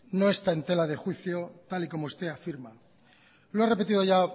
no está en tela de juicio tal y como usted afirma lo he repetido ya